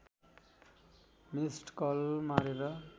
missed call मारेर